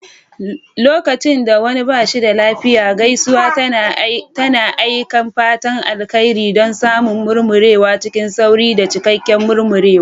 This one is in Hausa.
Lokacin da wani ba shi da lafiya, gaisuwa tana aika fatan alheri don samun murmurewa cikin sauri da cikakken murmurewa.